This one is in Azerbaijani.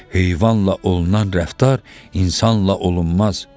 Heyvanla olunan rəftar insanla olunmaz.